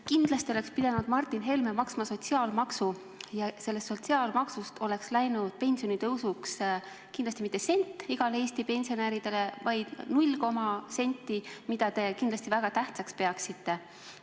Kindlasti oleks pidanud Martin Helme maksma sotsiaalmaksu ja sellest sotsiaalmaksust oleks läinud pensionitõusuks kindlasti mitte sent igale Eesti pensionärile, vaid null koma millegagi senti, mida te kindlasti väga tähtsaks peaksite.